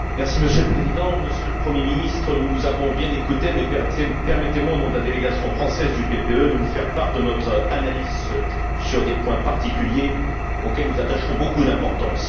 Monsieur le Président, Monsieur le Premier ministre, nous vous avons bien écouté mais permettez moi, au nom de la délégation française du PPE, de vous faire part de notre analyse sur des points particuliers auxquels nous attachons beaucoup d'importance.